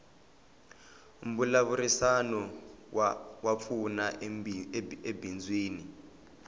mbulavurisano wa pfuna ebindzwini